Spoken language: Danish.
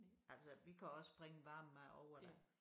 Altså vi kan også springe varm mad over da